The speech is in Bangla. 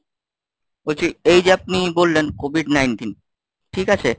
বলছি এই যে আপনি বললেন COVID nineteen ঠিক আছে?